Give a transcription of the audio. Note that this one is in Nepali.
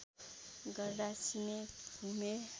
गर्दा सिमे भूमे